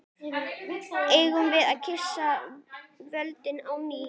Eigum við að kyssa vöndinn á ný?